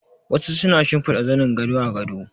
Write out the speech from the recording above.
Wasu na shimfida zanin gado a gado